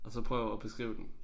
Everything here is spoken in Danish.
Og så prøv at beskrive den